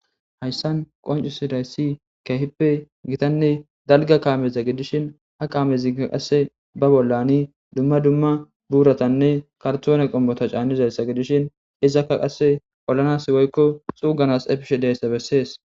Haysan qonc'isidaysi kehipe gitane dalga kameza gidishin ha kamezika qase ba bolani duma duma buratanne kartone qomota c'anizasa gidishin izaka qase olanas woyko xuganas efishe diyaysa beses.